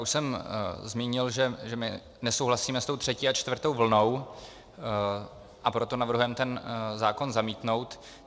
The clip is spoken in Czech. Už jsem zmínil, že my nesouhlasíme s tou třetí a čtvrtou vlnou, a proto navrhujeme ten zákon zamítnout.